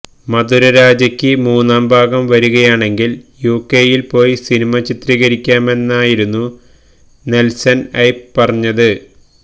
മധുരരാജയ്ക്ക് മൂന്നാം ഭാഗം വരികയാണെങ്കില് യുകെയില് പോയി സിനിമ ചിത്രീകരിക്കാമെന്നായിരുന്നു നെല്സണ് ഐപ്പ് പറഞ്ഞത്